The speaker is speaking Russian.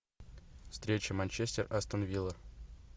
встреча манчестер астон вилла